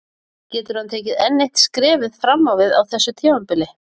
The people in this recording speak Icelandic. Getur hann tekið enn eitt skrefið fram á við á þessu tímabili?